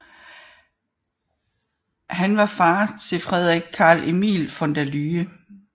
Han var fader til Frederik Carl Emil von der Lühe